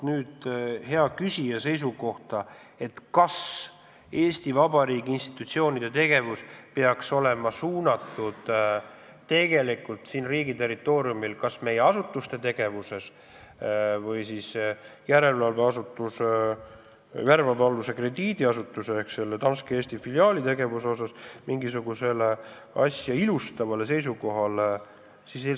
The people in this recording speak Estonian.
Hea küsija soovis teada, kas Eesti Vabariigi institutsioonide tegevus peaks olema suunatud püüdele asuda riigi territooriumil toimunu, kas meie asutuste või meie järelevalve aluse krediidiasutuse ehk Danske Eesti filiaali tegevuse osas mingisugusele asja ilustavale seisukohale.